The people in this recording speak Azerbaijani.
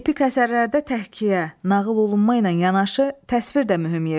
Epik əsərlərdə təhkiyə, nağıl olunma ilə yanaşı təsvir də mühüm rol tutur.